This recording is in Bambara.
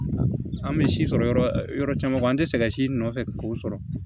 An bɛ si sɔrɔ yɔrɔ caman an tɛ sɛgɛn si nɔfɛ k'o sɔrɔ